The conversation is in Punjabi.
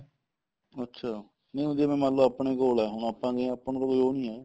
ਅੱਛਿਆ ਨਹੀਂ ਹੁਣ ਜਿਵੇਂ ਮੰਨਲੋ ਆਪਣੇ ਕੋਲ ਏ ਆਪਾਂ ਨੂੰ ਤਾਂ ਕੋਈ ਉਹ ਨਹੀਂ ਹੈ